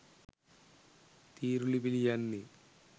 තීරුලිපි ලියන්නෙ?